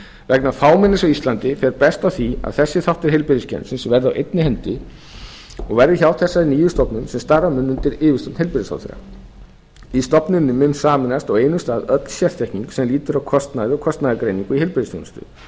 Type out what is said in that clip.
vegna fámennis á íslandi fer best á því að þessi þáttur heilbrigðiskerfisins verði á einni hendi og verði hjá þessari nýju stofnun sem starfa mun undir yfirstjórn heilbrigðisráðherra í stofnuninni mun sameinast á einum stað öll sérþekking sem lýtur að kostnaði og kostnaðargreiningu í heilbrigðisþjónustu